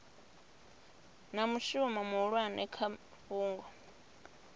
na mushumo muhulwane kha fhungo